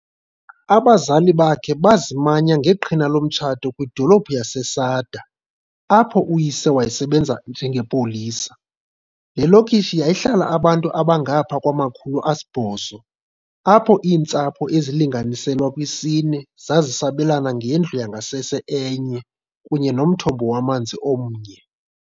Abazali bakhe bazimanya ngeqhina lomtshato kwidolophu yaseSada, apho uyise wayesebenza njengepolisa. Le lokishi yayihlala abantu abangapha kwama-800, apho iintsapho ezilinganiselwa kwisine zazisabelana ngendlu yangasese enye kunye nomthombo wamanzi omnye.